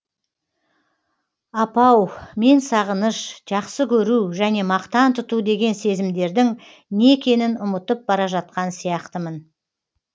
апау мен сағыныш жақсы көру және мақтан тұту деген сезімдердің не екенін ұмытып бара жатқан сияқтымын